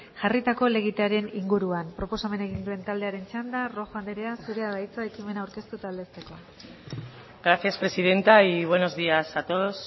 jarritako helegitearen inguruan proposamena egin duen taldearen txanda rojo andrea zurea da hitza ekimena aurkeztu eta aldezteko gracias presidenta y buenos días a todos